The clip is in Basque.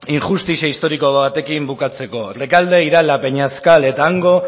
injustizia historiko batekin bukatzeko rekalde irala peñascal eta hango